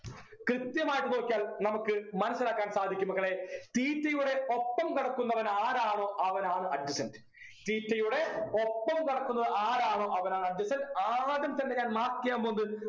കൃത്യമായിട്ട് നോക്കിയാൽ നമുക്ക് മനസിലാക്കാൻ സാധിക്കും മക്കളെ theta യുടെ ഒപ്പം കിടക്കുന്നവനാരാണോ അവനാണ് adjacenttheta യുടെ ഒപ്പം കിടക്കുന്നത് ആരാണോ അവനാണ് adjacent side ആദ്യം തന്നെ ഞാൻ mark ചെയ്യാൻ പോകുന്നത്